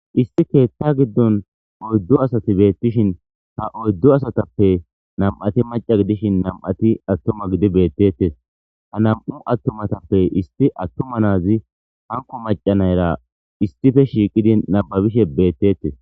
issi keetta giddon oyddu asati beettishin ha oyddu asatappe nam'ati maca gidishin nam'ati attuma gidi beettettes ha nam'u attumatappe isti attuma naazi hanko macanayra istife shiiqidi nababishe beettettes